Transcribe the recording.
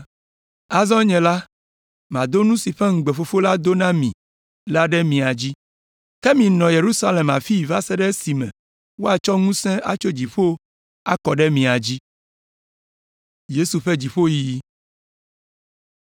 Azɔ nye la, madɔ nu si ƒe ŋugbe Fofonye do na mi la ɖe mia dzi. Ke minɔ Yerusalem afii va se ɖe esime woatsɔ ŋusẽ si atso dziƒo la akɔ ɖe mia dzi.”